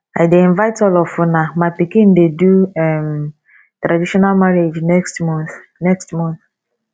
i dey invite all of una my pikin dey do um traditional marriage next month next month